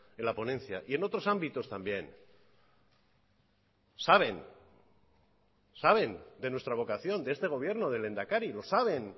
en la ponencia y en otros ámbitos también saben saben de nuestra vocación de este gobierno del lehendakari lo saben